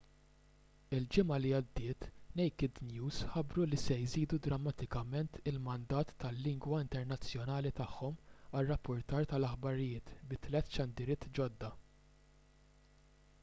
il-ġimgħa li għaddiet naked news ħabbru li se jżidu drammatikament il-mandat tal-lingwa internazzjonali tagħhom għar-rappurtar tal-aħbarijiet bi tliet xandiriet ġodda